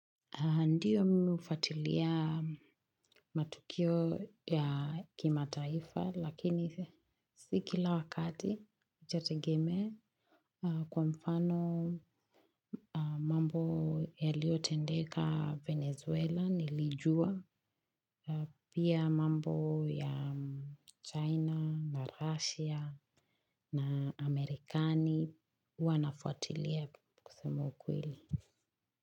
Ndiyo, mimi hufuatilia matukio ya kimataifa lakini si kila wakati, itategemea. Kwa mfano mambo yaliyotendeka Venezuela nilijua. Pia mambo ya China na Russia. Na Amerikani, huwa nafuatilia kusema ukweli.